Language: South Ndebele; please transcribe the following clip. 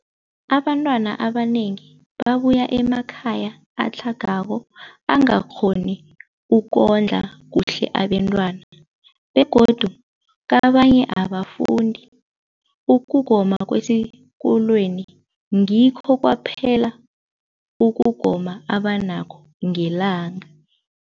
Abantwana abanengi babuya emakhaya atlhagako angakghoni ukondla kuhle abentwana, begodu kabanye abafundi, ukugoma kwesikolweni ngikho kwaphela ukugoma abanakho ngelanga.